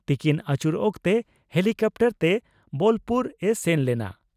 ᱛᱤᱠᱤᱱ ᱟᱹᱪᱩᱨ ᱚᱠᱛᱮ ᱦᱤᱞᱤᱠᱟᱯᱴᱟᱨ ᱛᱮ ᱵᱚᱞᱯᱩᱨ ᱮ ᱥᱮᱱ ᱞᱮᱱᱟ ᱾